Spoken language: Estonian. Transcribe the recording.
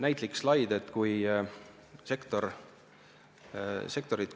Selle kohta on ka üks näitlik slaid.